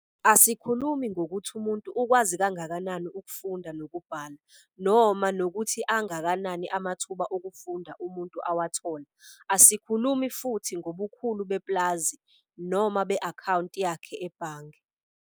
Asikhulumi ngokuthi umuntu ukwazi kangakanani ukufunda nokubhala, noma nokuthi angakanani amathuba okufunda umuntu awathola. Asikhulumi futhi ngobukhulu bepulazi noma be-akhawunti yakhe ebhange.